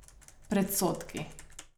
Predsodki.